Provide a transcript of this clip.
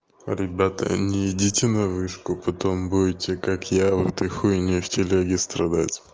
ребята не идите на вышку потом будете как я в этой хуйне в телеге страдать